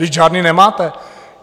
Vždyť žádné nemáte!